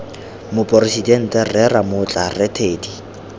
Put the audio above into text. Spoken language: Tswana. moporesidente rre ramotla rre teddy